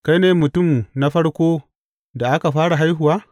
Kai ne mutum na farko da aka fara haihuwa?